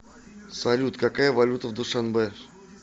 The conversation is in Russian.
салют какая валюта в душанбе